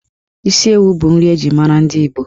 Isi ewu bụ nri eji mara ndi Igbo.